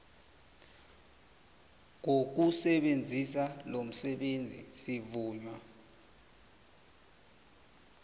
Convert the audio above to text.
ngokusebenzisa lomsebenzi sivunywa